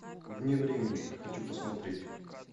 вне времени хочу посмотреть